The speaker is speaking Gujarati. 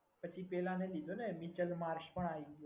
પછી પેલા ને કીધું ને વિચલ માર્શ પણ આવી ગયો છે.